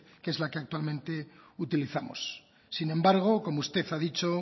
que es la que actualmente utilizamos sin embargo como usted ha dicho